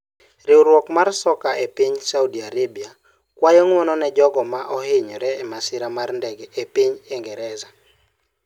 Riwruok mar Soccer e piny Saudi Arabia kwayo ng'wono ne jogo ma ne ohinyore e masira mar ndege e piny Ingresa